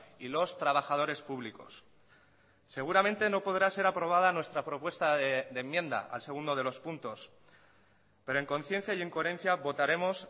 y los trabajadores públicos seguramente no podrá ser aprobada nuestra propuesta de enmienda al segundo de los puntos pero en conciencia y en coherencia votaremos